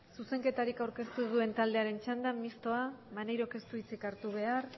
zuzenketarik aurkeztu ez duen taldeen txandan mistoa maneirok ez du hitzik hartu behar